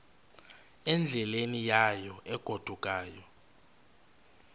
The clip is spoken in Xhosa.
endleleni yayo egodukayo